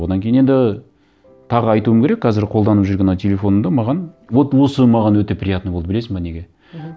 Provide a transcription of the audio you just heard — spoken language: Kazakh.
одан кейін енді тағы айтуым керек қазір қолданып жүрген мынау телефонымды маған вот осы маған өте приятно болды білесің бе неге мхм